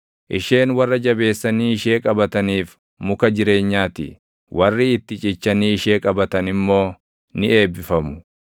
Isheen warra jabeessanii ishee qabataniif muka jireenyaa ti; warri itti cichanii ishee qabatan immoo ni eebbifamu.